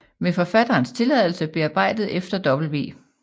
Med Forfatterens Tilladelse bearbejdet efter W